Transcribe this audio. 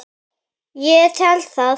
Ég tel það.